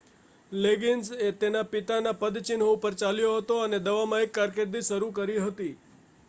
leggings તેના પિતાના પદચિહનો ઉપર ચાલ્યો હતો અને દવામાં એક કારકિર્દી શરુ કરી હતી